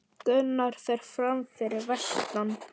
Gunnar fer fram fyrir vestan